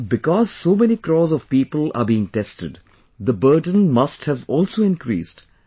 And because so many crores of people are being tested, the burden must have also increased